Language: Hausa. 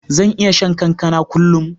Zan iya shan kankana kullun.